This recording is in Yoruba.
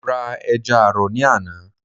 mo ra ẹja àrọ̀ ní àná.